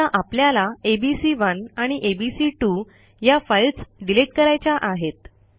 समजा आपल्याला एबीसी1 आणि एबीसी2 या फाईल्स डिलिट करायच्या आहेत